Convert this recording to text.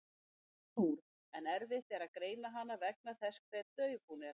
Hún er stór en erfitt er að greina hana vegna þess hve dauf hún er.